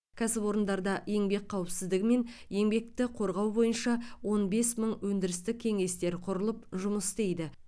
кәсіпорындарда еңбек қауіпсіздігі мен еңбекті қорғау бойынша он бес мың өндірістік кеңестер құрылып жұмыс істейді